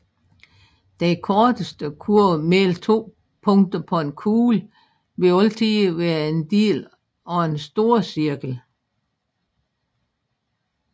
Den korteste kurve mellem to punkter på en kugle vil altid være en del af en storcirkel